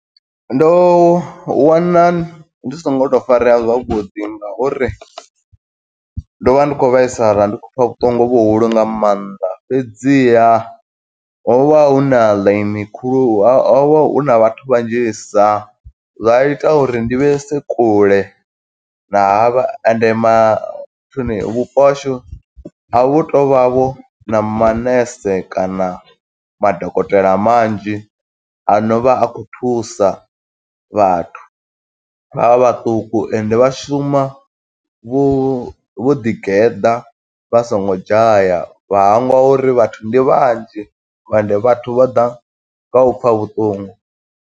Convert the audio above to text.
Ndo wana ndi songo to farea zwavhuḓi nga uri, ndo vha ndi khou vhaisala ndi khou pfa vhuṱungu vhuhulu nga maanḓa fhedziha ho vha hu na ḽaini khulu ho vha hu na vhathu vhanzhisa zwa ita uri ndi vhese kule na havha ende ma nthuni vhupo hashu a vhu to vha vho na manese kana madokotela manzhi, ano vha a khou thusa vhathu vha vha vhaṱuku. Ende vha shuma vho vho ḓi geḓa, vha songo dzhaya vha hangwa uri vhathu ndi vhanzhi, ende vhathu vha ḓa nga u pfa vhuṱungu.